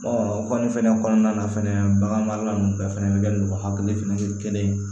o kɔni fɛnɛ kɔnɔna na fɛnɛ bagan marala ninnu bɛɛ fɛnɛ bɛ kɛ ni o hakili fɛnɛ ye kelen ye